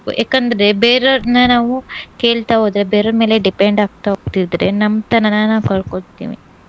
ಯಾಕಂದ್ರೆ ಬೇರೆ ಅವರ್ನ ನಾವು ಕೇಳ್ತಾ ಹೋದ್ರೆ ಬೇರೆಯವ್ರ್ ಮೇಲೆ depend ಆಗ್ತಾ ಹೊಗ್ತಿದ್ರೆ ನಮ್ತನನ ನಾವ್ ಕಳ್ಕೊಳ್ತೀವಿ.